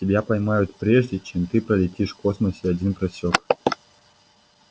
тебя поймают прежде чем ты пролетишь в космосе один просёк